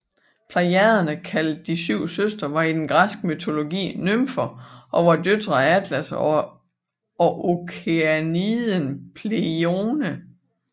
Plejaderne kaldet De syv søstre var i den græske mytologi nymfer og var døtre af Atlas og okeaniden Pleione